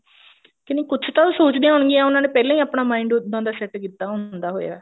ਕੇ ਨਹੀਂ ਕੁੱਛ ਤਾਂ ਉਹ ਸੋਚਦਿਆਂ ਹੋਣ ਗਿਆ ਉਹਨਾਂ ਨੇ ਪਹਿਲਾਂ ਹੀ ਆਪਣਾ mind ਉਦਾਂ ਦਾ set ਕੀਤਾ ਹੁੰਦਾ ਹੋਇਆ